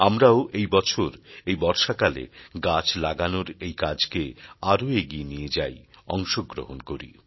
আমরাও এই বছর এই বর্ষাকালে গাছ লাগানোর এই কাজকে আরও এগিয়ে নিয়ে যাই অংশগ্রহণ করি